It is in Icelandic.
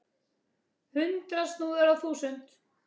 Hundrað snúðar á þúsund!